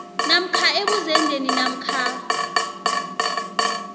namkha ebuzendeni namkha